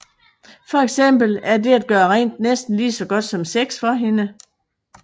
For eksempel er det at gøre rent næsten lige så godt som sex for hende